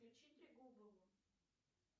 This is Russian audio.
включи трегубову